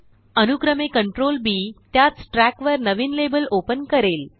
अनुक्रमे Ctrl B त्याच ट्रयाकवर नविन लेबल ओपन करेल